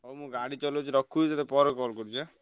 ହଉ ମୁଁ ଗାଡି ଚଲଉଛି ରଖୁଛି ତତେ ପରେ call କରୁଚି ଆଁ?